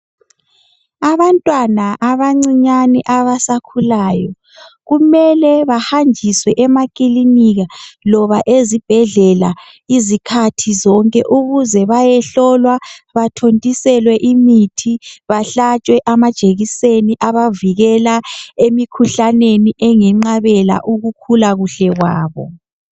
Abantwana abancinyane abasakhulayo kumele bahanjiswe emakilinika noma ezibhedlela izikhathi zonke ukuze bayehlolwa bathontiselwe imithi behlatshwe amajekiseni abavikela emikhuhlaneni engabenqabela ukukhula kuhle kwabo.